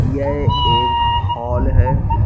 यह एक हॉल हैं ।